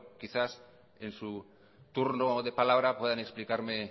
quizá en su turno de palabra puedan explicarme